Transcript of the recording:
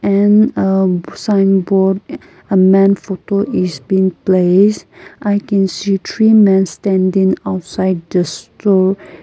in a umm signboard a man photo is been place i can see three men standing outside the store.